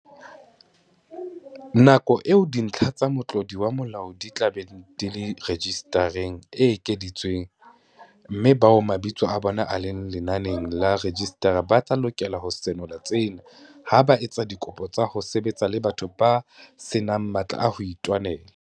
Nako eo dintlha tsa motlodi wa molao di tla beng di le rejisitareng e ekeditswe, mme bao mabitso a bona a leng lenaneng la rejisitara ba tla lokela ho senola tsena ha ba etsa dikopo tsa ho sebetsa le batho ba se nang matla a ho itwanela.